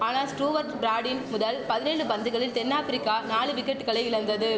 ஆனால் ஸ்டூவர்ட் பிராடின் முதல் பதினெழு பந்துகளில் தென் ஆப்பிரிக்கா நாலு விக்கெட்டுகளை இழந்தது